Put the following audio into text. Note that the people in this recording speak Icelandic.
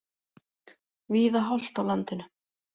Víða hált á landinu